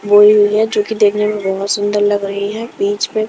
बोई हुई है जो कि देखने में बहुत सुंदर लग रही है बीच में--